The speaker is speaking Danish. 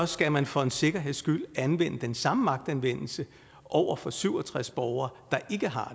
skal man for en sikkerheds skyld anvende den samme magtanvendelse over for syv og tres borgere der ikke har